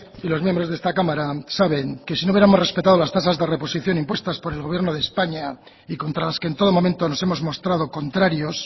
y los miembros de esta cámara saben que si no hubiéramos respetado las tasas de reposición impuestas por el gobierno de españa y contra las que en todo momento nos hemos mostrado contrarios